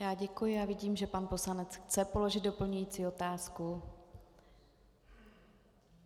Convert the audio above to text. Já děkuji a vidím, že pan poslanec chce položit doplňující otázku.